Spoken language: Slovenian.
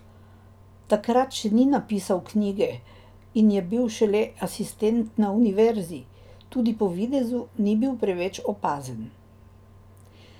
Takrat še ni napisal knjige in je bil šele asistent na univerzi, tudi po videzu ni bil preveč opazen.